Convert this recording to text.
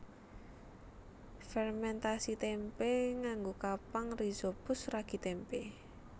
Fermèntasi témpé nganggo kapang rhizopus ragi tempe